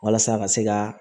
Walasa ka se ka